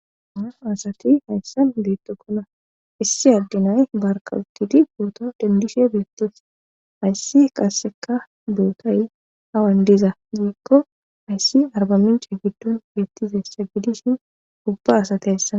Anam asati hayssan beettokkona issi addinay barkawuttidi pooto dendishe beettis hayssi qasseka dootay hawan diza ziikko hayssi arbamincha giddon beettizessa gidishin ubba asati hayssa..